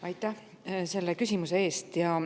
Aitäh selle küsimuse eest!